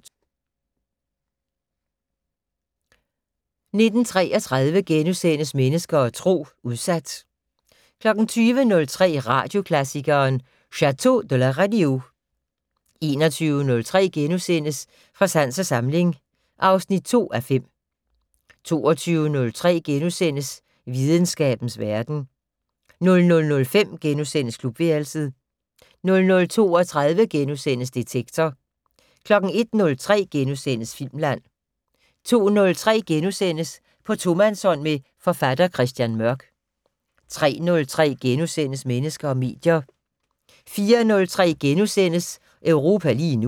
19:33: Mennesker og Tro: Udsat * 20:03: Radioklassikeren: Chateu de la Radio 21:03: Fra sans og samling (2:5)* 22:03: Videnskabens Verden * 00:05: Klubværelset * 00:32: Detektor * 01:03: Filmland * 02:03: På tomandshånd med forfatter Christian Mørk * 03:03: Mennesker og medier * 04:03: Europa lige nu *